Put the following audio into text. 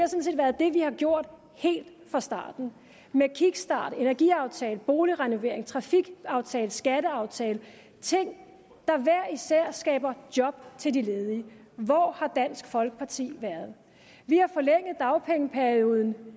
er det vi har gjort helt fra starten med kickstart energiaftale boligrenovering trafikaftale skatteaftale ting der hver især skaber job til de ledige hvor har dansk folkeparti været vi har forlænget dagpengeperioden